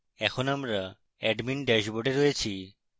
এখন আমরা admin ড্যাশবোর্ডে রয়েছি